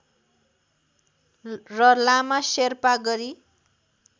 र लामा शेर्पा गरी